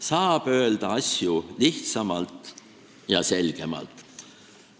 Saab öelda asju lihtsamalt ja selgemalt.